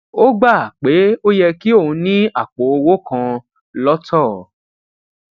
ó gbà pé ó yẹ kí òun ní àpò owó kan lọtọ